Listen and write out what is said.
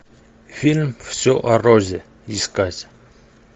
фильм все о розе искать